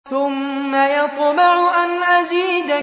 ثُمَّ يَطْمَعُ أَنْ أَزِيدَ